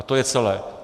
A to je celé!